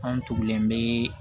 Anw tugulen bee